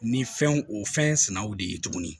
Ni fɛnw o fɛn sɛnnaw de ye tuguni